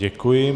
Děkuji.